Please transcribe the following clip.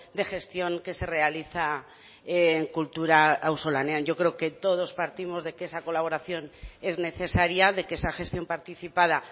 de gestión que se realiza en kultura auzolanean yo creo que todos partimos de que esa colaboración es necesaria de que esa gestión participada